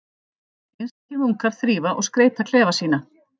Einstakir munkar þrífa og skreyta klefa sína.